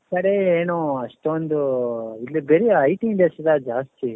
ನಮ್ ಕಡೆ ಏನು ಅಷ್ಟೊಂದು ಇಲ್ಲಿ ಬರಿ IT industry ಎಲ್ಲಾ ಜಾಸ್ತಿ